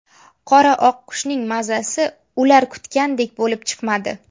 Qora oqqushning mazasi ular kutgandek bo‘lib chiqmadi.